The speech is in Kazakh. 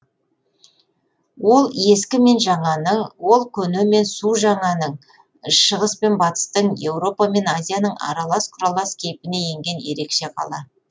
ол ескі мен жаңаның ол көне мен су жаңаның шығыс пен батыстың еуропа мен азияның аралас құралас кейпіне енген ерекше қала